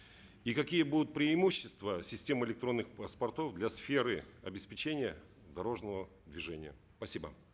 и какие будут преимущества системы электронных паспортов для сферы обеспечения дорожного движения спасибо